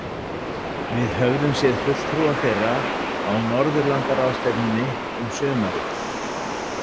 Við höfðum séð fulltrúa þeirra á Norðurlandaráðstefnunni um sumarið.